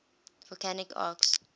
volcanic arcs